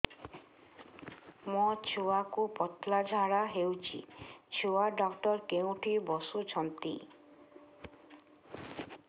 ମୋ ଛୁଆକୁ ପତଳା ଝାଡ଼ା ହେଉଛି ଛୁଆ ଡକ୍ଟର କେଉଁଠି ବସୁଛନ୍ତି